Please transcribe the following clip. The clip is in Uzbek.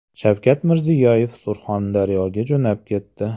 Shavkat Mirziyoyev Surxondaryoga jo‘nab ketdi.